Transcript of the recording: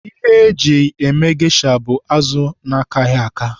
Ihe eji eme gesha bụ azụ akaghị aka.